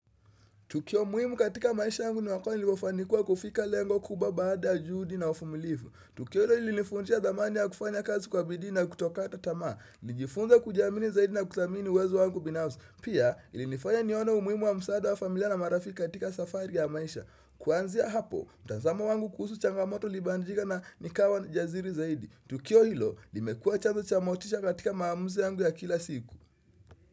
Tukio muhimu katika maisha yangu ni wakati niliofanikiwa kufika lengo kubwa baada ya juhudi na uvumilifu. Tukio hilo ilinivujia thamani ya kufanya kazi kwa bidii na kutokata tamaa. Nilijifunza kujiamini zaidi na kuthamini uwezo wangu binafsi. Pia ilinifanya nione umuhimu wa msaada wa familia na marafiki katika safari ya maisha. Kuanzia hapo, mtazamo wangu kuhusu changamoto ilibadilika na nikawa jasiri zaidi. Tukio hilo, limekua chanzo cha motisha katika maamuzi yangu ya kila siku.